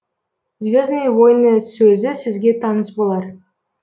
звездные войны сөзі сізге таныс болар